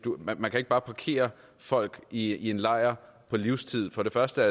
ikke bare kan parkere folk i en lejr på livstid for det første